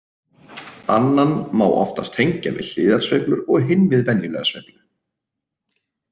Annan má oftast tengja við hliðarsveiflur og hinn við venjulega sveiflu.